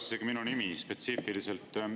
Kõlas isegi minu nimi spetsiifiliselt.